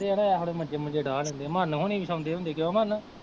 ਹੁੰਦੇ ਆ ਨਾ ਇਸ ਵੇਲੇ ਮੰਜੇ ਮੁੰਜੇ ਡਾਹ ਲੈਂਦੇ ਆ ਮੰਨ ਹੋਣੀਂ ਵੀ ਸੋਂਦੇ ਹੁੰਦੇ ਕਿਉਂ ਮਨ।